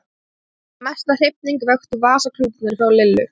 Mesta hrifningu vöktu vasaklútarnir frá Lillu.